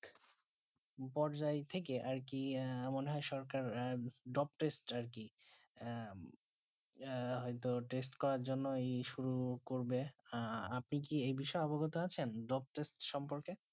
উপর যাই তে কি আর মনে হয়ে সরকার আহ drop test আরকি আহ আহ হয়ত test করার জন্য আহ শুরু করবে আহ আপনি কি যে বিষয়ে অবগত আছেন drop test সম্পর্কে